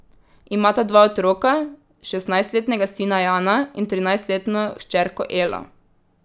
Imata dva otroka, šestnajstletnega sina Jana in trinajstletno hčerko Elo.